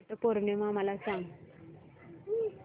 वट पौर्णिमा मला सांग